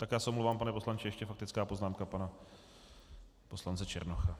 Tak já se omlouvám, pane poslanče, ještě faktická poznámka pana poslance Černocha.